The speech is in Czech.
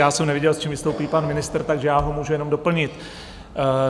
Já jsem neviděl, s čím vystoupí pan ministr, takže já ho můžu jenom doplnit.